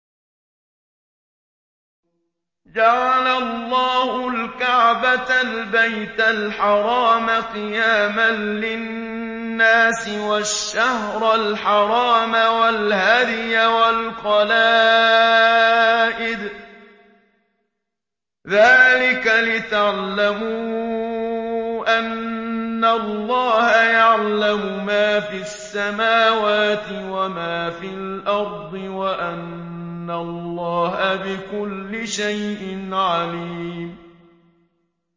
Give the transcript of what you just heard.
۞ جَعَلَ اللَّهُ الْكَعْبَةَ الْبَيْتَ الْحَرَامَ قِيَامًا لِّلنَّاسِ وَالشَّهْرَ الْحَرَامَ وَالْهَدْيَ وَالْقَلَائِدَ ۚ ذَٰلِكَ لِتَعْلَمُوا أَنَّ اللَّهَ يَعْلَمُ مَا فِي السَّمَاوَاتِ وَمَا فِي الْأَرْضِ وَأَنَّ اللَّهَ بِكُلِّ شَيْءٍ عَلِيمٌ